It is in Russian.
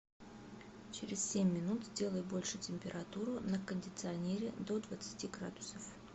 через семь минут сделай больше температуру на кондиционере до двадцати градусов